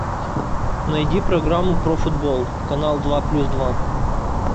найди программу про футбол канал два плюс два